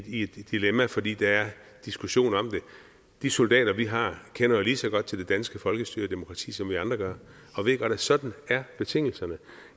i et dilemma fordi der er en diskussion om det de soldater vi har kender jo lige så godt til det danske folkestyre og demokrati som vi andre gør og ved at sådan er betingelserne